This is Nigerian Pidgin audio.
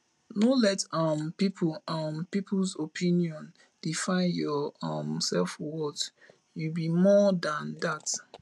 no let um peoples um peoples opinion define your um selfworth you be more dan dat um